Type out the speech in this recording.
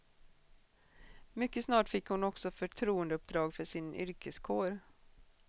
Mycket snart fick hon också förtroendeuppdrag för sin yrkeskår.